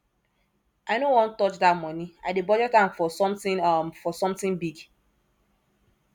i no wan touch dat money i dey budget am for something am for something big